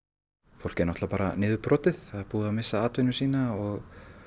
fólk er náttúrulega bara niðurbrotið það er búið að missa atvinnu sína og